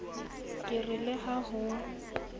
ke re le ha ho